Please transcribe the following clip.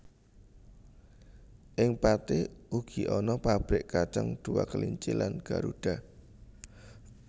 Ing Pathi uga ana pabrik kacang Dua Kelinci lan Garuda